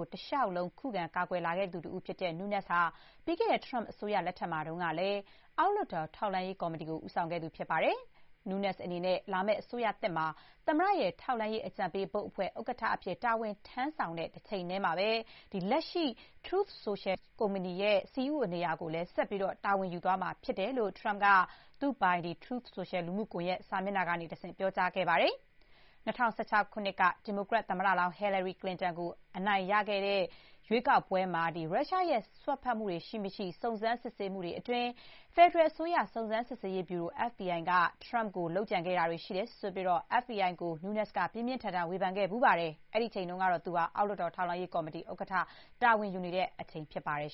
ု တလျှောက်လုံး ခုခံ ကာကွယ်လာခဲ့သူ တဦး ဖြစ်တဲ့ Nunes ဟာ ပြီးခဲ့တဲ့ ထရမ့်အစိုးရ လက်ထက်မှာတုန်းကလည်း အောက်လွှတ်တော် ထောက်လှမ်းရေး ကော်မတီကို ဦးဆောင်ခဲ့သူ ဖြစ်ပါတယ်။ Nunes အနေနဲ့ လာမယ့် အစိုးရသစ်မှာ သမ္မတရဲ့ ထောက်လှမ်းရေး အကြံပေးဘုတ်အဖွဲ့ ဥက္ကဋ္ဌ အဖြစ် တာဝန်ထမ်းဆောင်တဲ့ တချိန်တည်းမှာ လက်ရှိ Truth Social ကုမ္ပဏီရဲ့ CEO နေရာကိုလည်း ဆက်လက် တာဝန်ယူသွားမှာ ဖြစ်တယ်လို့ ထရမ့်က သူပိုင် Truth Social လူမှုကွန်ရက် စာမျက်နှာကတဆင့် ပြောကြားခဲ့ပါတယ်။ ၂၀၁၆ ခုနှစ်က ဒီမိုကရက် သမ္မတလောင်း Hillary Clinton ကို ထရမ့် အနိုင်ရခဲ့တဲ့ ရွေးကောက်ပွဲမှာ ရုရှားရဲ့ စွက်ဖက်မှုတွေ ရှိ မရှိ စုံစမ်း စစ်ဆေးမှုတွေအတွင်း ဖက်ဒရယ်အစိုးရ စုံစမ်းစစ်ဆေးရေးဗျူရို FBI က ထရမ့်ကို လုပ်ကြံခဲ့တယ်ဆိုပြီး FBI ကို Nunes က ပြင်းပြင်းထန်ထန် ဝေဖန်ခဲ့ဖူးပါတယ်။ အဲ့ဒီအချိန်က သူဟာ အောက်လွှတ်တော် ထောက်လှမ်းရေး ကော်မတီ ဥက္ကဋ္ဌ တာဝန်ယူထားတဲ့အချိန် ဖြစ်ပါတယ်